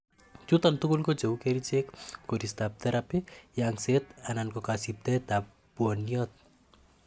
chuton tugul ko cheu kerichek, koristab therapy, yengset, anan ko kosiptoet ab bwoniot